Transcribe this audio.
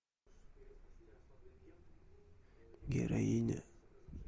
героиня